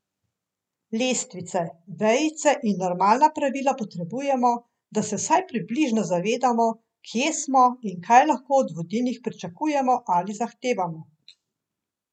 Lestvice, vejice in normalna pravila potrebujemo, da se vsaj približno zavedamo, kje smo in kaj lahko od vodilnih pričakujemo ali zahtevamo.